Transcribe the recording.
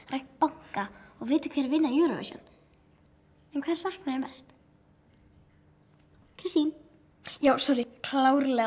rænt banka og vitað hverjir vinna Eurovision en hvers saknarðu mest Kristín já sorrí klárlega